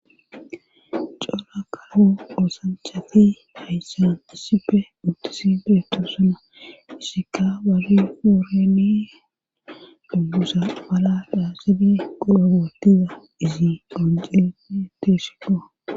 Cora kawo oosanchati hayssan issipe uttisi beeto suna issika bari fuureni duggusa bala dhaasibe qudogootiza izi gonceni teesiko.